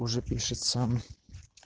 уже пишет сам